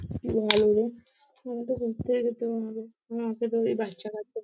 কি ভালো রে? আমি তো ঘুরতেই গেছিলাম বাচ্চা- কাচ্চা।